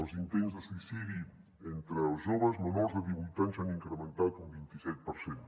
els intents de suïcidi entre els joves menors de divuit anys s’han incrementat un vint i set per cent